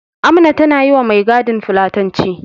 Amna tana yi wa mai gadin fulatanci.